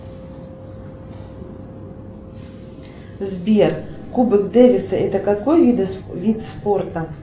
сбер кубок дэвиса это какой вид спорта